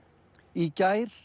í gær